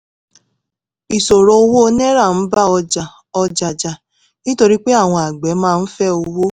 ìṣòro owó naira ń bá ọjà ọjà jà nítorí pé àwọn àgbẹ̀ máa ń fẹ́ owó